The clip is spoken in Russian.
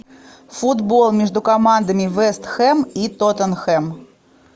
футбол между командами вест хэм и тоттенхэм